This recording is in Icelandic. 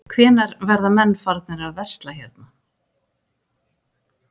Hvenær verða menn farnir að versla hérna?